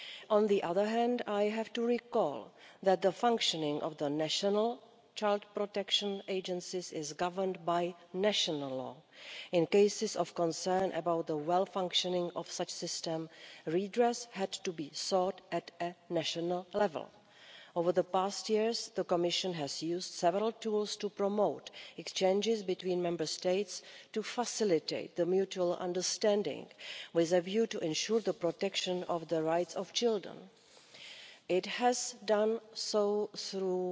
On the other hand, I have to recall that the functioning of the National Child Protection Agencies is governed by national law in cases of concern about the proper functioning of such a system redress had to be sought at a national level. Over the past years, the Commission has used several tools to promote exchanges between Member States to facilitate mutual understanding, with a view to ensuring the protection of the rights of children. It has done so through